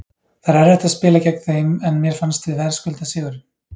Það er erfitt að spila gegn þeim en mér fannst við verðskulda sigurinn.